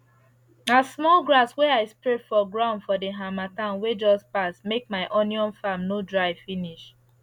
na small grass wey i spread for ground for the harmattan wey just pass make my onion farm no dry finish